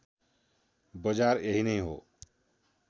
बजार यही नै हो